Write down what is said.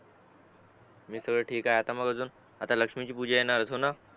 मी तेर ठीक हाय तर मग काय मग अजून म आत लक्ष्मीची पूजा येणार होतोना